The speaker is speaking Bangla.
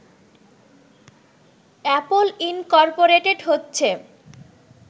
অ্যাপল ইনকর্পোরেটেড হচ্ছে